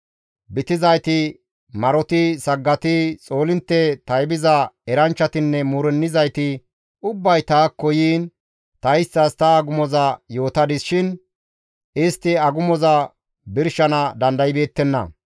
Bitizayti, maroti, saggati, xoolintte taybiza eranchchatinne muurennizayti ubbay taakko yiin ta isttas ta agumoza yootadis shin istti agumoza birshana dandaybeettenna.